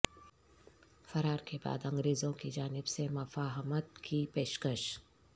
فرار کے بعد انگریزوں کی جانب سے مفاہمت کی پیشکش